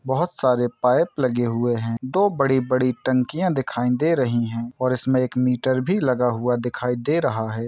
बोहोत सारे पाइप लगे हुए हैं दो बड़ी-बड़ी टंकियाॅं दिखाई दे रहीं हैं और इसमें एक मीटर भी लगा हुआ दिखाई दे रहा है।